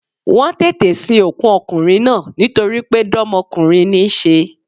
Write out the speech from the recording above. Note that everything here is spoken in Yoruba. Wọ́n tètè sin òkú okùnrin náà nítoripé dómokúnrin ní í se